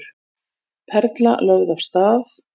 Perla lögð af stað